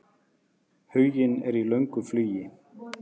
Huginn er í löngu flugi.